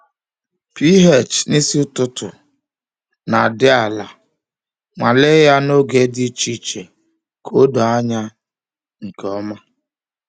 pH n’isi ụtụtụ na-adị ala—nwalee ya n’oge dị iche iche ka o doo anya nke ọma.